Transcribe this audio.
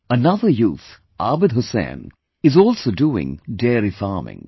Another youth Abid Hussain is also doing dairy farming